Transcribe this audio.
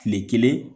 Kile kelen